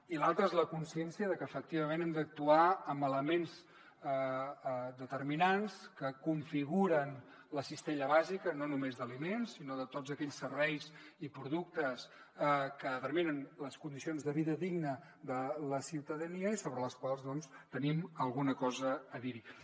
i l’altre és la consciència de que efectivament hem d’actuar amb elements determinants que configuren la cistella bàsica no només d’aliments sinó de tots aquells serveis i productes que determinen les condicions de vida digna de la ciutadania i sobre les quals doncs tenim alguna cosa a dir hi